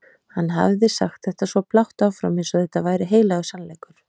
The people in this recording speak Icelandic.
Hann hafði sagt þetta svo blátt áfram eins og þetta væri heilagur sannleikur.